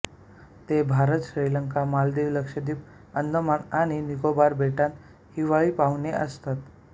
ते भारत श्रीलंका मालदीव लक्षद्वीप अंदमान आणि निकोबार बेटांत हिवाळी पाहुणे असतात